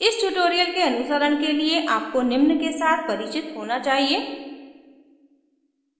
इस tutorial के अनुसरण के लिए आपको निम्न के साथ परिचित होना चाहिए